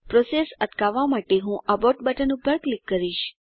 process અટકાવવાં માટે હું એબોર્ટ બટન પર ક્લિક કરીશ